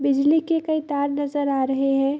बिजली के कई तार नजर आ रहे हैं।